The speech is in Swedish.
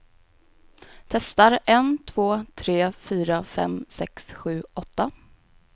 Testar en två tre fyra fem sex sju åtta.